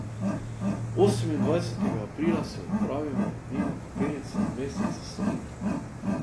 Osemindvajsetega aprila se odpravimo mimo Kapelice v mestece Soline.